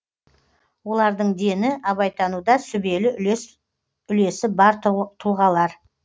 олардың дені абайтануда сүбелі үлесі бар тұлғалар